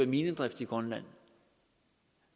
minedrift i grønland